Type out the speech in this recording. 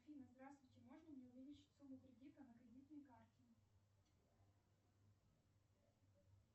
афина здравствуйте можно мне увеличить сумму кредита на кредитной карте